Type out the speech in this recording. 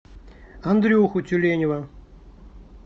андрюху тюленева